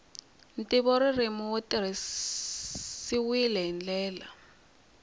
ntivoririmi wu tirhisiwile hi ndlela